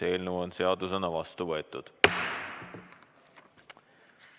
Eelnõu on seadusena vastu võetud.